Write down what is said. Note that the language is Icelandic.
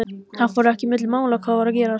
Það fór ekki milli mála hvað var að gerast.